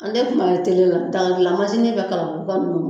An de kun bɛ la daga gilan mansinin bɛ Kalabuguka ninnu